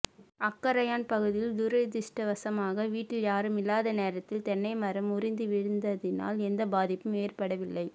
அக்கராயன் பகுதியில் துரதிருஷ்டவசமாக வீட்டில் யாரும் இல்லாத நேரத்தில் தென்னை மரம் முறிந்து வீழ்ந்ததினால் எந்த பாதிப்பும் ஏற்படவில்லை